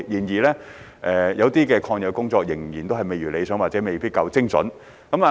然而，有些抗疫工作仍然未如理想或未夠精準。